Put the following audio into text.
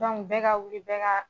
Dɔnku bɛɛ ka wuli bɛɛ ka